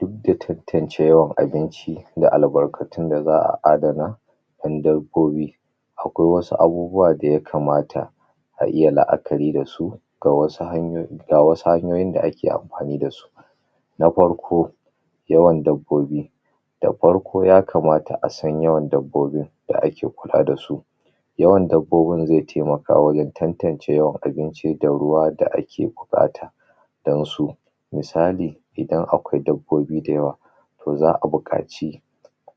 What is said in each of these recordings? idda tantance yawan abinci da albarkatun da za'a adana don dabbobi akwai wasu bubuwa da ya kamata a iya la'akari dasu ga wasu hanyoyi, ga wasu hanyoyin da ake kula dasu na farko yawan dabbobi da farko ya kamata a san yawan dabbobin da ake kula dasu yawan dabbobin zai taimaka wajen tantance yawan abinci da ruwa da ake buƙata don su don su misali idan akwai dabbobi da yawa to za'a buƙaci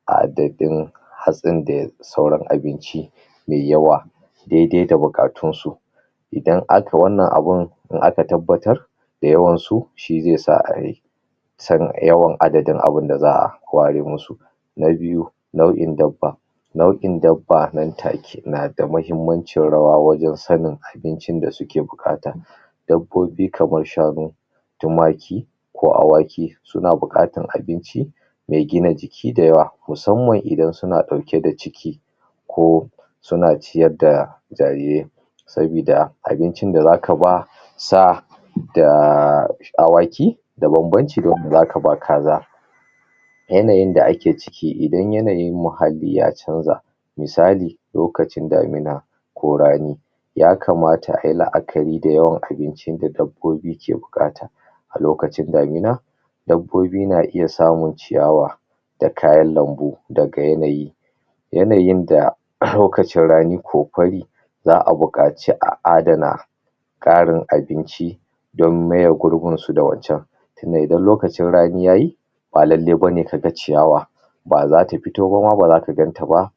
adadin hatsinda sauran abinci mai yawa daidai da bukatunsu idan aka wannan abun in aka tabbatar da yawansu shi zasa a yi san yawan adadin abinjda za'a ware musu na biyu nau'in dabba nau'in dabba nan take nada mahimmanciyar rawa wajen sanin abincin da suke buƙata dabbobi kamar shanu tumaki ko awaki suna buƙatar abinci me gina jiki da yawa muamman idan suna ɗauke da ciki ko suna ciyar da jarirai sabi da abincin da zaka ba sa da awaki da bamban ci da wanda zaka ba kaza yanayin da ake ciki idan yanayin muhalli ya chanja misali lokacin damuna ko rani ya kamata ayi la'akari da yawan abincin da dabbobi ke buƙata a lokacin damuna dabbobi na iya samun ciyawa da kayan lambu daga yanayi yanayin da a hankacin rani ko fari za'a buƙaci a adana ƙarin abinci don maye gurbin du da waccan tunda idan lokacin rani yayi ba lallai bane kaga ciyawa bazata fito bama baza ku gantaba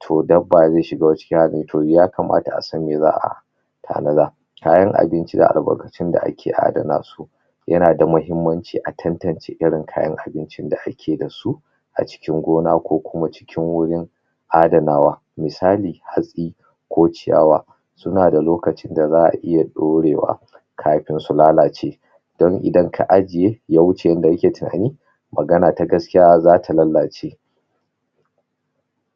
to dabba zai shiga wani cikin halin to yakamata asan me za'a tanada kayan abinci da albarkatun da ake adana su yanada muhinmanci a tantance irin kayan abincin da akeda su a cikin gona kokuma cikin wurin adanawa misali hatsi ko ciyawa sunada lokacin da za'a iya ɗorewa kafin su lalace don idan ka ajiye yawuce inda ake tunani magana ta gaskiya zata lallace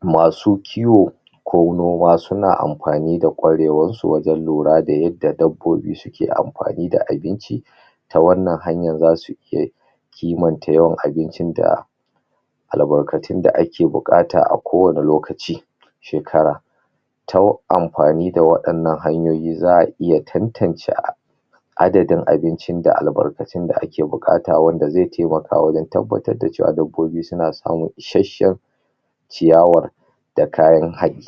masu kiwo ko noma suna amfani da kwarewar su wajen lurada yadda dabbobi suke amfani da abinci ta wannan hanyar zasu ke kimanta yawan abincin da albarkatun da ake bukata a kowane lokacin shekara ta amfani da wadannan hanyoyi za'a iya tantance adadin abincin da albarkatun da ake bukata wanda zai taimaka wajen tabbatar da dabbobi suna samun ishasshen ciyawar da kayan haɗi